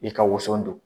I ka woson don